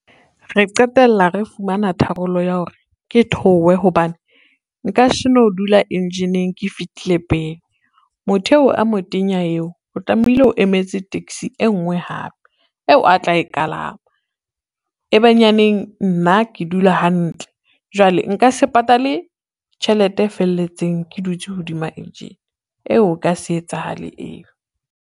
Re qetella re fumana tharollo ya hore ke theowe hobane, nka seno dula engine-ng ke fihlile pele. Motho eo a motenya eo o tlamehile o emetse taxi e ngwe hape eo a tla e kalama, ebenyaneng nna ke dula hantle jwale nka se patale tjhelete e felletseng ke dutse hodima engine eo e ka se etsahale eo.